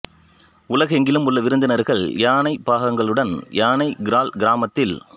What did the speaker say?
உலகெங்கிலும் உள்ள விருந்தினர்கள் யானைப் பாகன்களுடன் யானை கிரால் கிராமத்தில்